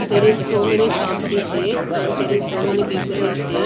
There is so many shops is there and there is so many people is there.